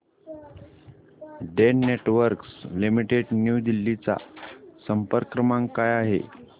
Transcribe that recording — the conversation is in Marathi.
Den networks limited new Delhi चा संपर्क क्रमांक काय आहे